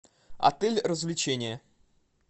отель развлечения